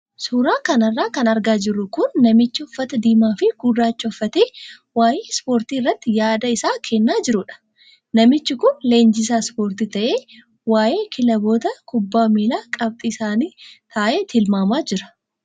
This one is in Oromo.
Suuraa kanarra kan argaa jirru kun namicha uffata diimaa fi gurraacha uffatee waayee ispoortii irratti yaada isaa kennaa jirudha. Namichi kun leenjisaa ispoortii ta'ee, waayee kilaboota kubbaa miilaa qabxii isaanii taa'ee tilmaamaa jira.